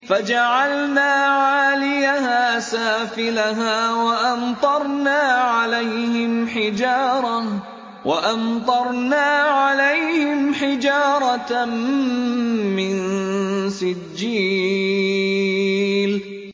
فَجَعَلْنَا عَالِيَهَا سَافِلَهَا وَأَمْطَرْنَا عَلَيْهِمْ حِجَارَةً مِّن سِجِّيلٍ